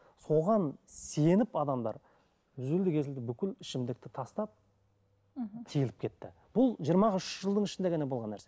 соған сеніп адамдар үзілді кесілді бүкіл ішімдікті тастап мхм тиылып кетті бұл жиырма ақ үш жылдың ішінде ғана болған нәрсе